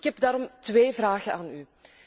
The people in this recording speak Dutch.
Ik heb daarom twee vragen aan u.